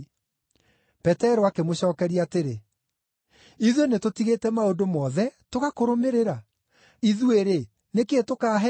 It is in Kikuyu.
Petero akĩmũcookeria atĩrĩ, “Ithuĩ nĩtũtigĩte maũndũ mothe, tũgakũrũmĩrĩra! Ithuĩ-rĩ, nĩ kĩĩ tũkaaheo?”